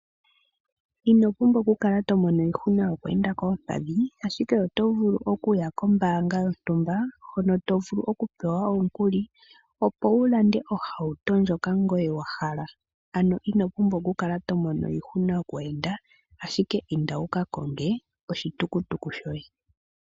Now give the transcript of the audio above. Ino pumbwa okukala to mono iihuna yoku enda koompadhi ashike oto vulu okuya kombanga yontumba mpono to vulu okupewa omukuli opo wu lande ohawuto ndyoka ngoye wahala ano ino pumbwa okukala to mono iihuna yoku enda ashike inda wuka konge oshitukutuku shoye.